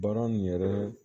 Baara nin yɛrɛ